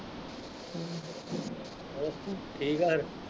ਹੋਰ ਠੀਕ ਫਿਰ।